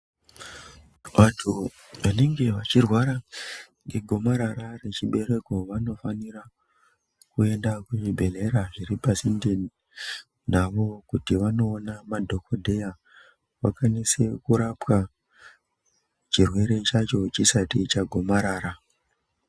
Vantu vanenge vechirwara ngegomaara rechibereko vanofanira kuenda kuzvibhedhlera zviripasinde navo. Kuti vanoona madhogodheya vakawanise kurapwa chirwere chacho chisati chagomarara.